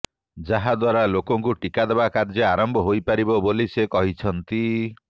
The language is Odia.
ଯାହାଦ୍ବାରା ଲୋକଙ୍କୁ ଟିକା ଦେବା କାର୍ଯ୍ୟ ଆରମ୍ଭ ହୋଇପାରିବ ବୋଲି ସେ କହିଛନ୍ତି